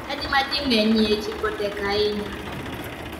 Chadi ma ji ng'enyie chiko tek ahinya.